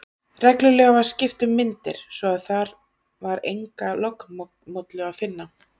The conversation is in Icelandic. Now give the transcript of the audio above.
Reglulega var skipt um myndir, svo að þar var enga lognmollu að finna.